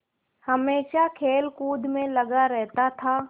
हमेशा खेलकूद में लगा रहता था